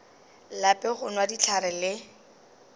lape go nwa dihlare le